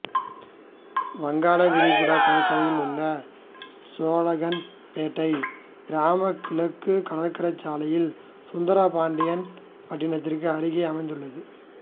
வங்காள விரிகுடா கடற்கரையில் உள்ள சோழகன்பேட்டை கிராமம் கிழக்கு கடற்கரை சாலையில் சுந்தரபாண்டியன்பட்டினத்திற்கு அருகில் அமைந்துள்ளது